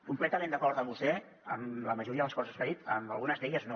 completament d’acord amb vostè en la majoria de les coses que ha dit en algunes d’elles no